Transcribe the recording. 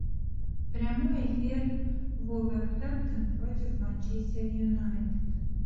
прямой эфир вулверхэмптон против манчестер юнайтед